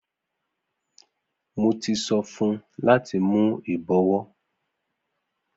Mo ti so fun u lati mu ibọ̀wọ́.